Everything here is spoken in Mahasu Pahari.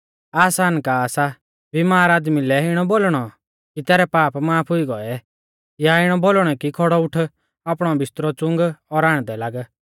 आसान का सा बीमार आदमी लै इणौ बोलणौ कि तैरै पाप माफ हुई गोऐ या इणौ बोलणौ कि खौड़ौ उठ आपणौ बिस्तरौ च़ुंग और आण्डदै लाग्ग